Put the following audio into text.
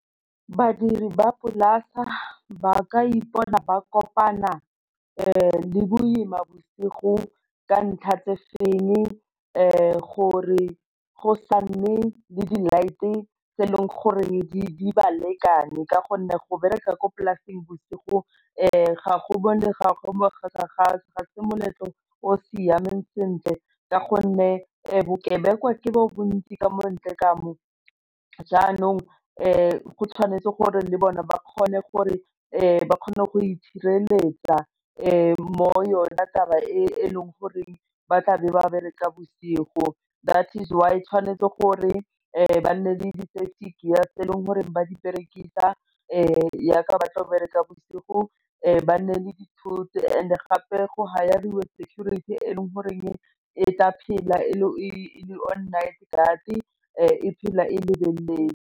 Badiri ba ga ba ka ipona ba kopana le boima bosigo ka ntlha tse feng gore go sa nne le di light-e tse e leng goreng di ba lekane ka gonne go bereka kwa polasing bosigo ga go bone ga go ga se moletlo o siameng sentle ka gonne bokebekwa ke bo bontsi ka mo ntle ka mo, jaanong go tshwanetse gore le bone ba kgone gore ba kgone go itshireletsa mo yona taba e e leng goreng ba tla be ba bereka bosigo that is why tshwanetse gore ba nne le di tse e leng gore ba di berekisa jaaka ba tlo bereka bosigo ba nne le dithoto and gape go security e le goreng e tla phela e le on night guard e phela e lebeletse.